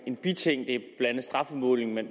en biting det andet strafudmålingen man